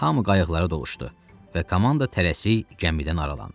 Hamı qayıqlara doluşdu və komanda tələsik gəmidən aralandı.